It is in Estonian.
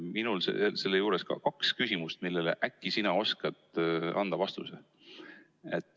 Minul on selle juures kaks küsimust, millele äkki sina oskad anda vastuse.